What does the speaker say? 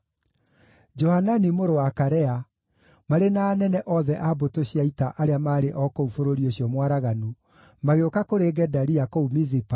Johanani mũrũ wa Karea, marĩ na anene othe a mbũtũ cia ita arĩa maarĩ o kũu bũrũri ũcio mwaraganu, magĩũka kũrĩ Gedalia kũu Mizipa,